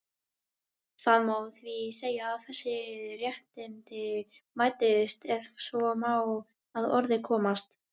Það má því segja að þessi réttindi mætist, ef svo má að orði komast.